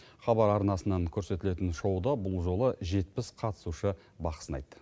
хабар арнасынан көрсетілетін шоуда бұл жолы жетпіс қатысушы бақ сынайды